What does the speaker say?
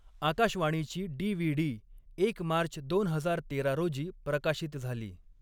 आकाशवाणीची डी.व्ही.डी. एक मार्च दोन हजार तेरा रोजी प्रकाशित झाली.